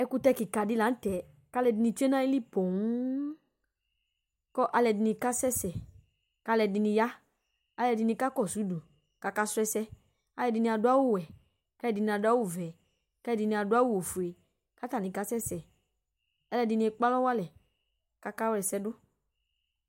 Ekutɛ kika di la nu tɛ ku alu ɛdini tsue nu ayili poo Ku alu ɛdini kasɛsɛ ku alu ɛdini ya alu ɛdini kakɔsu udu ku akasu ɛsɛ Alu ɛdini adu awu ɔwɛ Alu ɛdini adu awu ɔvɛ Ku alu ɛdini adu awu ɔfue Ku atabi kasɛsɛ Alu ɛdini ekpalɔwalɛ ku akawla ɛsɛ du